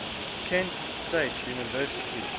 kent state university